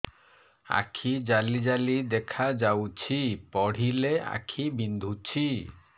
ଆଖି ଜାଲି ଜାଲି ଦେଖାଯାଉଛି ପଢିଲେ ଆଖି ବିନ୍ଧୁଛି